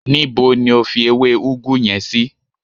Níbo ni o fi ewé ugwu yen sí?